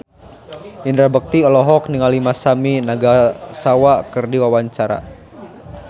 Indra Bekti olohok ningali Masami Nagasawa keur diwawancara